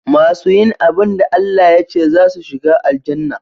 Masu yin abun da ALLAH yace zasu shiga Aljannah